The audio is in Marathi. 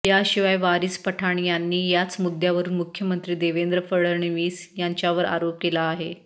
याशिवाय वारिस पठाण यांनी याच मुद्यावरुन मुख्यमंत्री देवेंद्र फडणवीस यांच्यावर आरोप केला आहे